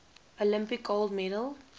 olympic gold medal